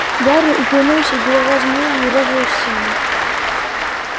гарри уклонился и голова змеи врезалась в стену